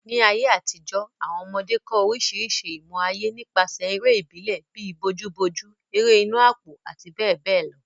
Ní àtijọ́, àwọn ọmọdé kọ́ orísìírísìí ìmọ̀ ayé nípasẹ̀ eré ìbílẹ̀ bíi bojúbojú, ẹrẹ́ inù àpò àti bẹ́ẹ̀ bẹ́ẹ̀ lọ.